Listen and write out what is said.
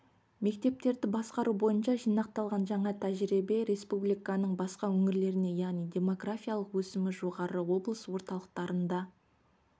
мектептерді басқару бойынша жинақталған жаңа тәжірибе республиканың басқа өңірлеріне яғни демографиялық өсімі жоғары облыс орталықтарында